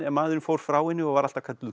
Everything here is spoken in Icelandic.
maðurinn fór frá henni og var alltaf kölluð